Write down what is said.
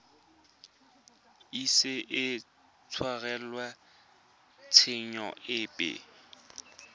ise a tshwarelwe tshenyo epe